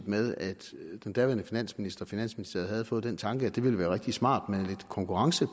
med at den daværende finansminister og finansministeriet havde fået den tanke at det ville være rigtig smart med lidt konkurrence